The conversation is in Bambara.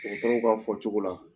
Dɔgɔtɔrɔw ka fɔcogo la